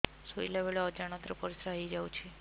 ଶୋଇଲା ବେଳେ ଅଜାଣତ ରେ ପରିସ୍ରା ହେଇଯାଉଛି